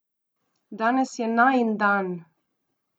Danes je najin dan!